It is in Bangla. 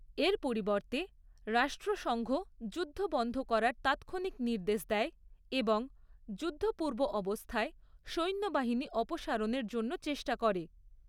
এর পরিবর্তে রাষ্ট্রসঙ্ঘ যুদ্ধ বন্ধ করার তাৎক্ষণিক নির্দেশ দেয় এবং যুদ্ধপূর্ব অবস্থায় সৈন্যবাহিনী অপসারণের জন্য চেষ্টা করে।